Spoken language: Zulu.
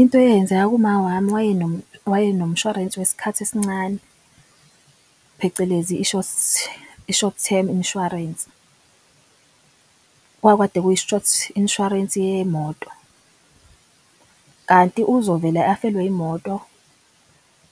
Into eyenzeka kuma wami waye nomshwarensi wesikhathi esincane, phecelezi i-short-term insurance. Kwakukade kuyi-short inshwarensi yemoto kanti uzovele afelwe imoto